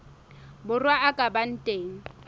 borwa a ka ba teng